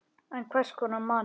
En hvers konar manni?